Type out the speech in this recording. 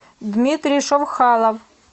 дмитрий шовхалов